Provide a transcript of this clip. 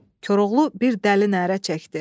Koroğlu bir dəli nərə çəkdi.